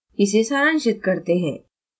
इसे सारांशित करते हैं: